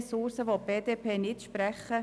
Mehr Ressourcen will die BDP nicht sprechen.